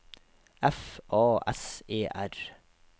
F A S E R